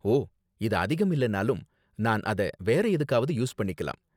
ஓ, இது அதிகம் இல்லனாலும், நான் அத வேற எதுக்காவது யூஸ் பண்ணிக்கலாம்.